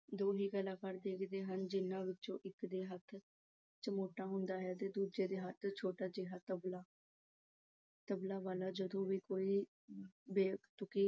ਦੋ ਹੀ ਕਲਾਕਾਰ ਖੇਡਦੇ ਹਨ ਜਿਨ੍ਹਾਂ ਵਿੱਚੋਂ ਇੱਕ ਦੇ ਹੱਥ ਚਮੋਟਾ ਹੁੰਦਾ ਹੈ ਤੇ ਦੂਜੇ ਦੇ ਛੋਟਾ ਜਿਹਾ ਤਬਲਾ। ਤਬਲੇ ਵਾਲਾ ਜਦੋਂ ਵੀ ਕੋਈ ਬੇਤੁਕੀ